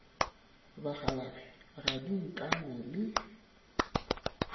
bakgalabje ga di nkame le